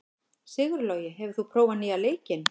Sigurlogi, hefur þú prófað nýja leikinn?